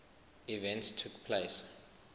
events took place